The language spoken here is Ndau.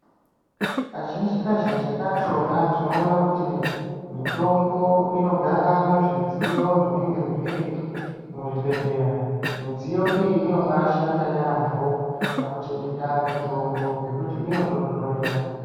Kazhinji kazhinji kachona tinoona kuti mitombo inogara muzvidziyo zvinenge zviri muzvibhedhlera. Midziyo iyi inobaashanda yaamho pakuchengeta mitombo ngekuti inotonhorera.